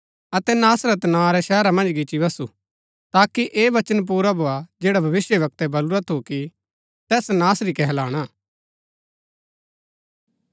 अतै नासरत नां रै शहरा मन्ज गिच्ची बसु ताकि ऐह वचन पुरा भोआ जैडा भविष्‍यवक्तै बलुरा थु कि तैस नासरी कहलाणा